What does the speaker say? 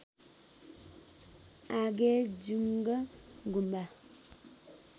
Agejung Gumba